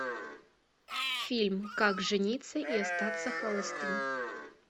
фильм как жениться и остаться холостым